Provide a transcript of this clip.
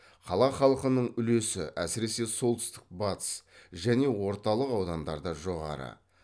қала халқының үлесі әсіресе солтүстік батыс және орталық аудандарда жоғары